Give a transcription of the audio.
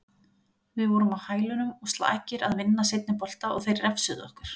Við vorum á hælunum og slakir að vinna seinni bolta og þeir refsuðu okkur.